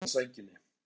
Elmu ofan á sænginni.